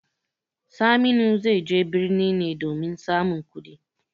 Saminu zai je birni ne domin samun kuɗi.